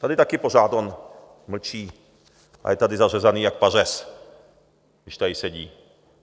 Tady taky pořád on mlčí a je tady zařezaný jak pařez, když tady sedí.